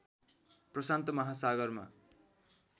प्रशान्त महासागरमा